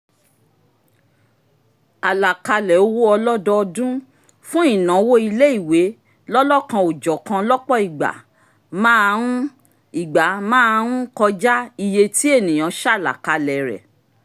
àlàkalẹ̀ owó ọlọ́dọọdún fún ìnáwó ilé ìwé lọ́lọ́kan-ò-jọ̀kan lọ́pọ̀ ìgbà máa ń ìgbà máa ń kọjá iye ti èèyàn ṣàlàkalẹ̀ rẹ̀